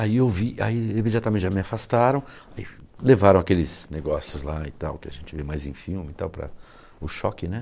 Aí eu vi, aí imediatamente já me afastaram, levaram aqueles negócios lá e tal, que a gente vê mais em filme e tal, para o choque, né?